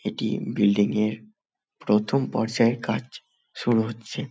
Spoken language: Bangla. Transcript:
এটি বিল্ডিং -এর প্রথম পর্যায়ের কাজ শুরু হচ্ছে ।